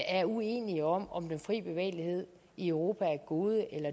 er uenige om om den fri bevægelighed i europa er et gode eller